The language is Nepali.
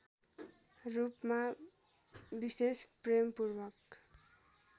रूपमा विशेष प्रेमपूर्वक